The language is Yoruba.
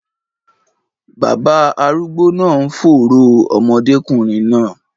Baba arúgbó náà ń fòòró ọmọdékùnrin náà.